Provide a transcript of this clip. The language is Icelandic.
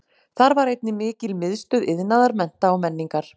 Þar var einnig mikil miðstöð iðnaðar, mennta og menningar.